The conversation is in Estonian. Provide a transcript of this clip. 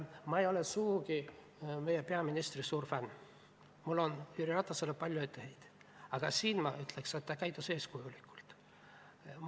Ma ei ole sugugi meie peaministri suur fänn, mul on Jüri Ratasele palju etteheiteid, aga siin, ma ütleks, ta käitus eeskujulikult.